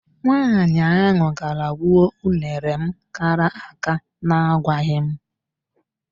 Nwaanyị ahụ gara gbuo unere m kara àká na agwaghị m.